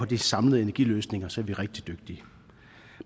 de samlede energiløsninger så er vi rigtig dygtige